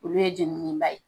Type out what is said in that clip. Olu ye jenini la ye.